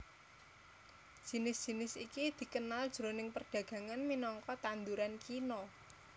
Jinis jinis iki dikenal jroning perdagangan minangka tanduran kina